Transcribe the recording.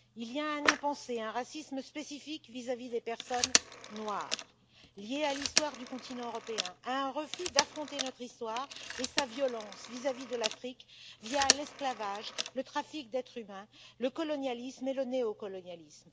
Il y a un impensé, un racisme spécifique vis à vis des personnes noires, lié à l'histoire du continent européen, à un refus d'affronter notre histoire et sa violence vis à vis de l'Afrique, via l'esclavage, le trafic d'êtres humains, le colonialisme et le néocolonialisme.